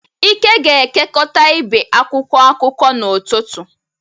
Ike ga-ekekọta ibe akwụkwọ akụkọ n’ụtụtụ.